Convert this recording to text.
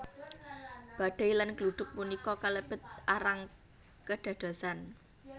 Badai lan gluduk punika kalebet arang kedadosan